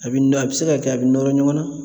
A bɛ nɔ a bɛ se ka kɛ a bɛ nɔrɔ ɲɔgɔn na.